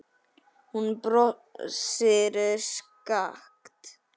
Hún brosir skakkt.